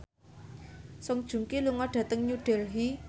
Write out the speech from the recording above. Song Joong Ki lunga dhateng New Delhi